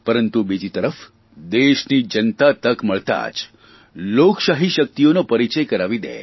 પરંતુ બીજી તરફ દેશની જનતા તક મળતાં જ લોકશાહી શકિતઓનો પરિચય કરાવી દે